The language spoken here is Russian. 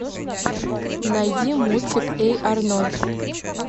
найди мультик эй арнольд